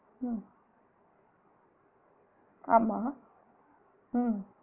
உம் ஆமா உம்